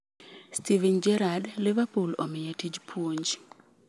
Steven Gerrard: Liverpool omiye tij puonj.